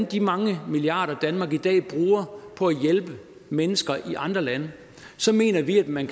de mange milliarder danmark i dag bruger på at hjælpe mennesker i andre lande så mener vi at man